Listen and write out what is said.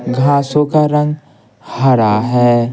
घासों का रंग हरा है।